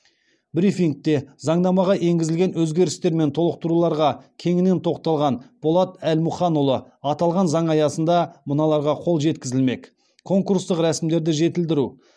брифингте заңнамаға енгізілген өзгерістер мен толықтыруларға кеңінен тоқталған болат әлмұханұлы аталған заң аясында мыналарға қол жеткізілмек конкурстық рәсімдерді жетілдіру